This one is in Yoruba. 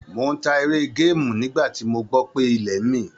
Mò ń ta eré géèmù nígbà tí mo gbọ́ pé ilẹ̀ ń mì.